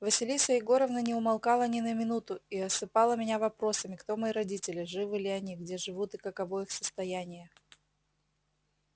василиса егоровна не умолкала ни на минуту и осыпала меня вопросами кто мои родители живы ли они где живут и каково их состояние